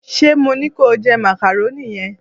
se mo ni ko je macaroni yen